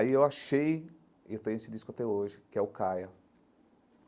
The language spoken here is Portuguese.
Aí eu achei, e eu tenho esse disco até hoje, que é o Kaya.